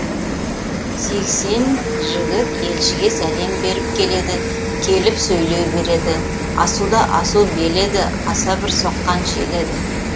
сексен жігіт елшіге сәлем беріп келеді келіп сөйлей береді асуда асу бел еді аса бір соққан жел еді